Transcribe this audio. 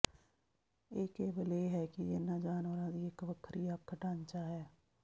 ਇਹ ਕੇਵਲ ਇਹ ਹੈ ਕਿ ਇਹਨਾਂ ਜਾਨਵਰਾਂ ਦੀ ਇੱਕ ਵੱਖਰੀ ਅੱਖ ਢਾਂਚਾ ਹੈ